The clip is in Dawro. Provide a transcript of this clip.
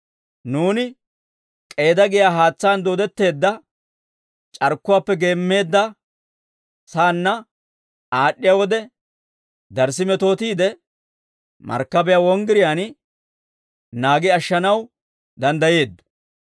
Nuuni K'eeda giyaa haatsaan dooddetteedda c'arkkuwaappe geemmeedda saanna aad'd'iyaa wode, darssi metootiide markkabiyaa wonggiriyaan naagi ashshanaw danddayeeddo.